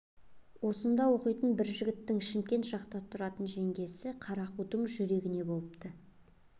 осында оқитын бір жігіттің шымкент жақта тұратын жеңгесі қара қудың жүрегіне болыпты